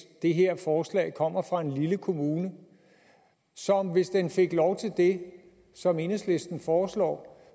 det her forslag kommer fra en lille kommune som hvis den fik lov til det som enhedslisten foreslår